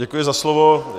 Děkuji za slovo.